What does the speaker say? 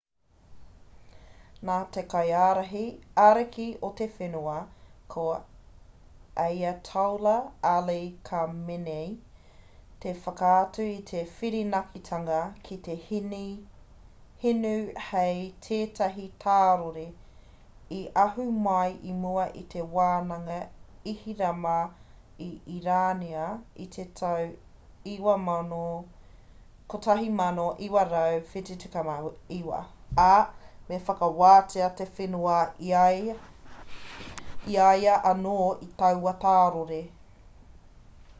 nā te kaiārahi ariki o te whenua a ayatollah ali khamenei i whakaatu i te whirinakitanga ki te hinu hei tētahi tārore i ahu mai i mua i te whananga ihirama a irāna i te tau 1979 ā me whakawātea te whenua i a ia anō i taua tārore